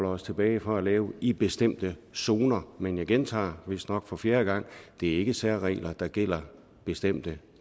os tilbage fra at lave i bestemte zoner men jeg gentager vistnok for fjerde gang det er ikke særregler der gælder bestemte